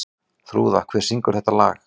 Þrúða, hver syngur þetta lag?